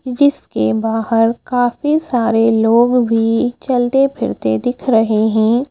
जिसके बाहर काफी सारे लोग भी चलते फिरते दिख रहे हैं।